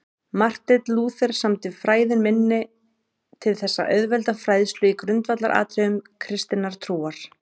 Marteinn Lúther samdi Fræðin minni til þess að auðvelda fræðslu í grundvallaratriðum kristinnar trúar.